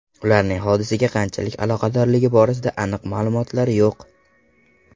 Ularning hodisaga qanchalik aloqadorligi borasida aniq ma’lumotlar yo‘q.